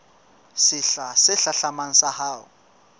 sehla se hlahlamang sa ho